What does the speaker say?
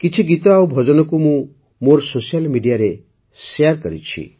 କିଛି ଗୀତ ଆଉ ଭଜନକୁ ମୁଁ ବି ମୋ ସୋସିଆଲ୍ Mediaରେ ଶେୟାର କରିଛି